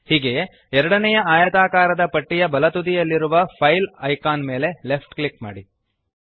ಹೀಗೆಯೇ ಎರಡನೇಯ ಆಯತಾಕಾರದ ಪಟ್ಟಿಯ ಬಲತುದಿಯಲ್ಲಿರುವ ಫೈಲ್ ಐಕಾನ್ ಮೇಲೆ ಲೆಫ್ಟ್ ಕ್ಲಿಕ್ ಮಾಡಿರಿ